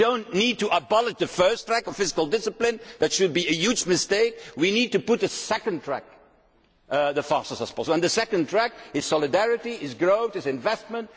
moment. We do not need to abolish the first track of fiscal discipline that would be a huge mistake we need to put a second track in place as fast as possible, and the second track is solidarity, is growth, is investment.